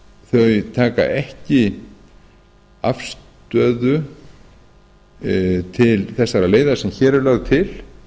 þau taka ekki afstöðu til þessarar leiðar sem hér er lögð til